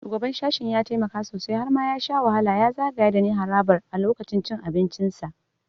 Shugaban sashen ya taimaka sosai - har ma ya sha wahala ya zagaya dani harabar a lokacin cin abincinsa.